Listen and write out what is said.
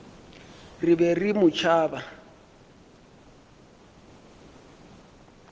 re be re mo tšhaba